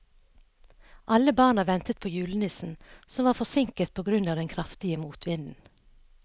Alle barna ventet på julenissen, som var forsinket på grunn av den kraftige motvinden.